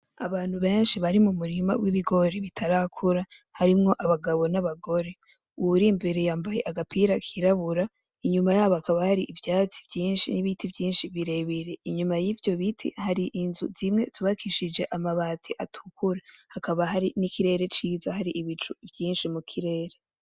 Abantu benshi bari mu murima w'ibigori bitarakura, harimwo abagabo n'abagore, uwuri imbere yambaye agapira kirabura, inyuma yabo hakaba hari ivyatsi vyinshi n'ibiti vyinshi birere, inyuma y'ivyo biti, hari inzu zimwe zubakishije amabati atukura, hakaba hari n'ikirere ciza, hari ibicu vyinshi mu kirere.